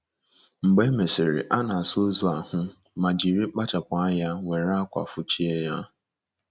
Mgbe e mesịrị, a na - asa ozu ahụ ma jiri kpachapụ anya were ákwà fụchie ya.